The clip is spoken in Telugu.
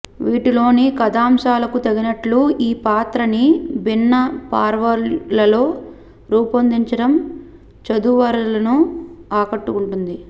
వీటిలోని కథాంశాలకు తగినట్లు ఈ పాత్రని భిన్నపార్వ్యాలలో రూపొందించడం చదువరులను ఆకట్టుకుంటుంది